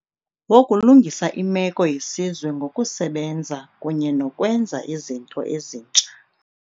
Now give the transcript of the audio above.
wokulungisa imeko yesizwe ngo kusebenza kunye nokwenza izinto ezintsha.